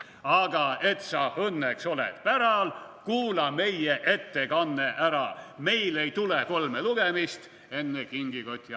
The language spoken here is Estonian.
/ Aga et sa õnneks oled päral, / kuula meie ettekanne ära, / meil ei tule kolme lugemist / enne kingikoti avamist.